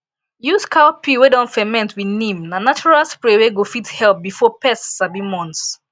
use cow pee wey don ferment with neem na natural spray wey go fit help before pest sabi months